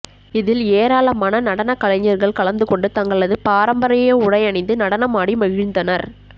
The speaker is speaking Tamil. இதில் ஏராளமான நடனக்கலைர்கள் கலந்து கொண்டு தங்களது பாரம்பரிய உடையணிந்து நடனம் ஆடி மகிழ்ந்தனர்